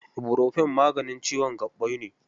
Ibofurofen maganin ciwon gaɓɓai ne.